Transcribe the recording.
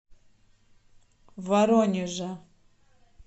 воронежа